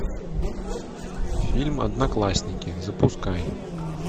фильм одноклассники запускай